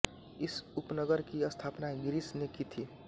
इस उपनगर की स्थापना गिरिश ने की थी